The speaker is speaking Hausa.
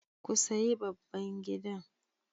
Ku sayi babban gidan.